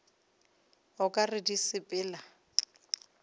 o ka re di sepela